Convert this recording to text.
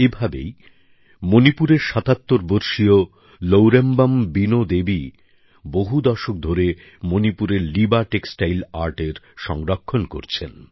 এভাবেই মণিপুরের সাতাত্তর বর্ষীয় লৌরেম্বম বীণো দেবী বহু দশক ধরে মণিপুরের লিবা টেক্সটাইল আর্টের সংরক্ষণ করছেন